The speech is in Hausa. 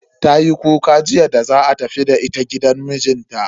Tayi kuka jiya da za a tafi da ita gidan mijinta.